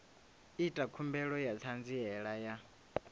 ita khumbelo ya ṱhanziela ya